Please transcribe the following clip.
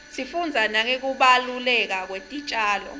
sifundza nangekubaluleka kwetitjalo